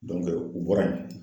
u bɔra yen